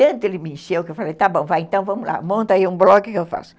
Tanto ele me encheu que eu falei, está bom, vai então, vamos lá, monta aí um blog que eu faço.